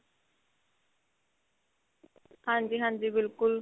ਹਾਂਜੀ ਹਾਂਜੀ ਬਿਲਕੁਲ